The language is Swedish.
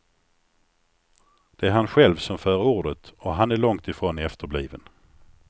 Det är han själv som för ordet och han är långtifrån efterbliven.